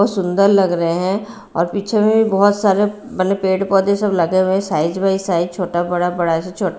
और सुन्दर लग रहे हैं और पीछे में भी बहुत सारे मतलब पेड़ पौधे सब लगे हुए हैं साइज़ बाई साइज़ छोटा बड़ा बड़ा से छोटा।